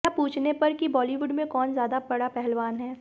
यह पूछने पर कि बॉलीवुड में कौन ज्यादा बड़ा पहलवान है